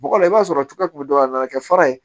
Bɔgɔ la i b'a sɔrɔ cogoya jumɛn a nana kɛ fara ye